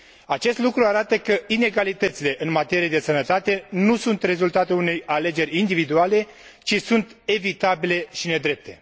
Acest lucru arată că inegalitățile în materie de sănătate nu sunt rezultatul unei alegeri individuale, ci sunt evitabile și nedrepte.